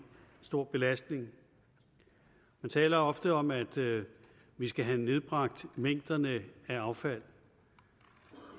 stor belastning man taler ofte om at vi skal have nedbragt mængderne af affald